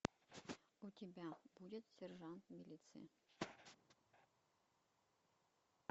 у тебя будет сержант милиции